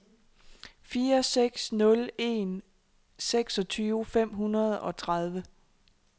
fire seks nul en seksogtyve fem hundrede og tredive